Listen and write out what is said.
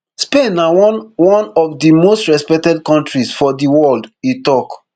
spain na one one of di most respected kontris for di world e tok